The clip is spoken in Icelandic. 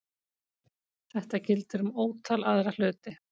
Þetta gildir um ótal aðra hluti.